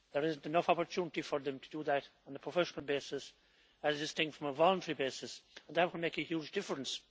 There is not enough opportunity for them to do that on a professional basis, as distinct from a voluntary basis, and that will make a huge difference.